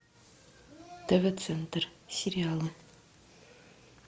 тв центр сериалы